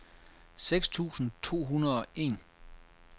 seks tusind to hundrede og en